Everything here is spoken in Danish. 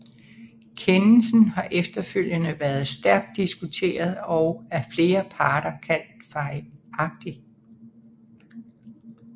Kendelsen har efterfølgende været stærkt diskuteret og af flere parter kaldt fejlagtig